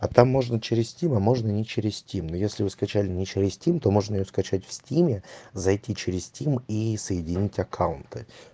а там можно через стим а можно не через стим но если вы скачали не через стим то можно её скачать в стиме зайти через стим и соединить аккаунты